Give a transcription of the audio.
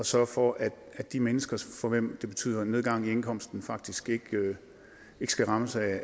sørge for at de mennesker for hvem det betyder nedgang i indkomsten faktisk ikke skal rammes af